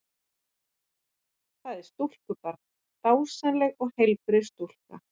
Það er stúlkubarn, dásamleg og heilbrigð stúlka.